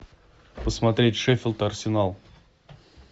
посмотреть шеффилд арсенал